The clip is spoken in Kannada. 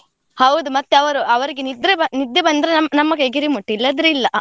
ಹೌದು ಮತ್ತೆ ಅವರು ಅವರಿಗೆ ನಿದ್ರೆ, ನಿದ್ದೆ ಬಂದ್ರೆ, ನಮ್ಮ ಕೈಗೆ remote ಇಲ್ಲದಿದ್ರೆ ಇಲ್ಲಾ.